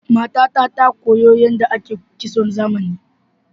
Matata ta koyo yadda ake kitson zamani.